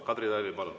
Kadri Tali, palun!